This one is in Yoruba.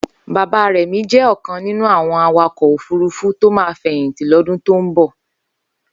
Bàbá Remi jẹ̀ ọkãn ninú awọn àwákọ ọfùrùfù tó mà fẹyintí lọdún tó n bọ